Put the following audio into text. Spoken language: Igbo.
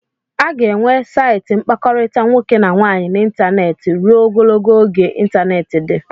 A ga-enwe saịtị mkpakọrịta nwoke na nwaanyị n'ịntanetị ruo Ogologo oge ịntanetị dị